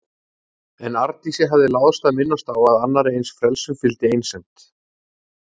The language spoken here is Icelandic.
En Arndísi hafði láðst að minnast á að annarri eins frelsun fylgdi einsemd.